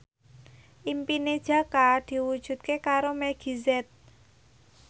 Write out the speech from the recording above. impine Jaka diwujudke karo Meggie Z